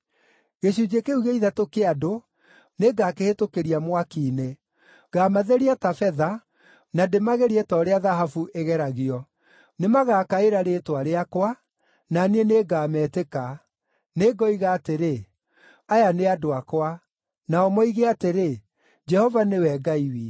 Gĩcunjĩ kĩu gĩa ithatũ kĩa andũ nĩngakĩhĩtũkĩria mwaki-inĩ; ngaamatheria ta betha, na ndĩmagerie ta ũrĩa thahabu igeragio. Nĩmagakaĩra rĩĩtwa rĩakwa, na niĩ nĩngametĩka; Nĩngoiga atĩrĩ, ‘Aya nĩ andũ akwa,’ nao moige atĩrĩ, ‘Jehova nĩwe Ngai witũ.’ ”